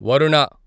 Varuna